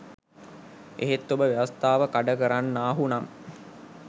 එහෙත් ඔබ ව්‍යවස්ථාව කඩ කරන්නාහු නම්